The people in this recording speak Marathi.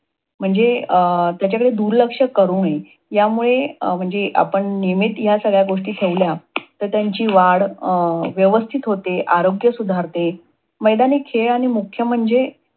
म्हणजे अं त्याच्याकडे दुर्लक्ष करू नये. ह्यामुळे अं आपण नियमित सगळ्या ह्या गोष्टी ठेवल्या, तर त्यांची वाढ अं व्यवस्थित होते. आरोग्य सुधारते. मैदानी खेळ आणि मुख्य म्हणजे